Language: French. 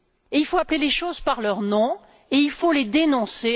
Il faut appeler les choses par leur nom et il faut les dénoncer.